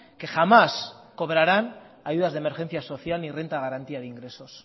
que jamás cobrarán ayudas de emergencia social ni renta de garantía de ingresos